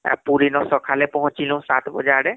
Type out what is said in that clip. ଆଉ ପୁରୀ ନୁ ସଖାଳେ ପଂହଁଚିଲୁ ସାତ ବଜେ ଆଡେ